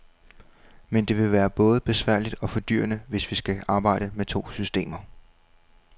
Men det vil både være besværligt og fordyrende, hvis vi skal arbejde med to systemer.